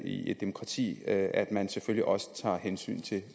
i et demokrati at man selvfølgelig også tager hensyn til